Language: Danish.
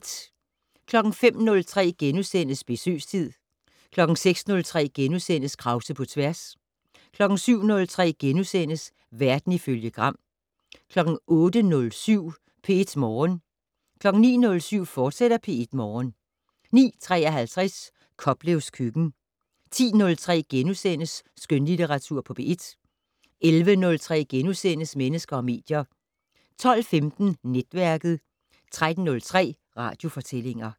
05:03: Besøgstid * 06:03: Krause på tværs * 07:03: Verden ifølge Gram * 08:07: P1 Morgen 09:07: P1 Morgen, fortsat 09:53: Koplevs køkken 10:03: Skønlitteratur på P1 * 11:03: Mennesker og medier * 12:15: Netværket 13:03: Radiofortællinger